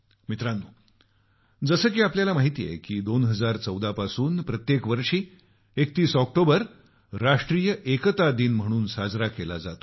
मित्रांनो जसे की आपल्याला माहित आहे 2014 पासून प्रत्येक वर्षी 31 ऑक्टोबर राष्ट्रीय एकता दिन म्हणून साजरा केला जातो